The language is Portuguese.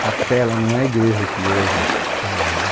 Capela não é a igreja que hoje está lá né